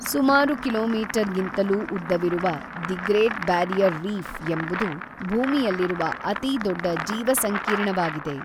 ಸುಮಾರು ಕಿಲೋಮೀಟರ್ಗಿಂತಲೂ ಉದ್ದವಿರುವ ದಿ ಗ್ರೇಟ್ ಬ್ಯಾರಿಯರ್ ರೀಫ್ ಎಂಬುದು ಭೂಮಿಯಲ್ಲಿರುವ ಅತಿ ದೊಡ್ಡ ಜೀವಸಂಕೀರ್ಣವಾಗಿದೆ